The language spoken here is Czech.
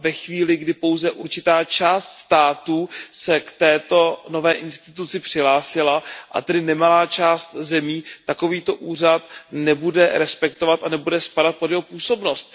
Ve chvíli, kdy pouze určitá část států se k této nové instituci přihlásila a tedy nemalá část zemí takovýto úřad nebude respektovat a nebude spadat pod jeho působnost.